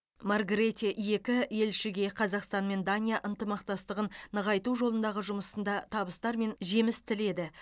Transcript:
маргрете екі елшіге қазақстан мен дания ынтымақтастығын нығайту жолындағы жұмысында табыстар мен жеміс тіледі